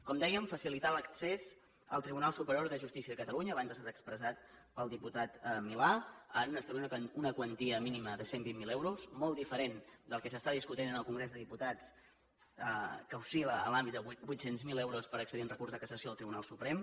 com dèiem facilitar l’accés al tribunal superior de justícia de catalunya abans ha estat expressat pel diputat milà en establir una quantia mínima de cent i vint miler euros molt diferent del que s’està discutint en el congrés dels diputats que oscil·la en l’àmbit de vuit cents miler euros per accedir en recurs de cassació al tribunal suprem